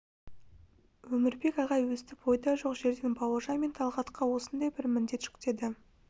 өмірбек ағай өстіп ойда жоқ жерден бауыржан мен талғатқа осындай бір міндет жүктеді